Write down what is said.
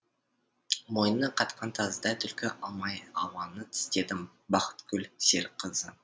мойыны қатқан тазыдай түлкі алмай ауаны тістедім бахыткүл серікқызы